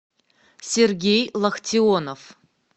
сергей лахтионов